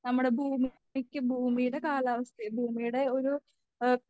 നമ്മുടെ ഭൂമിക്ക് ഭൂമിയുടെ കാലാവസ്ഥയും ഭൂമിയുടെ ഒരു ഏഹ്